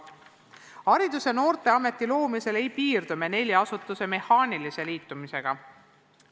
Haridus- ja Noorteaameti loomisel ei piirdu me nelja asutuse mehaanilise liitmisega.